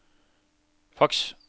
faks